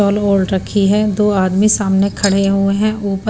रखी है दो आदमी सामने खड़े हुए हैं उपर --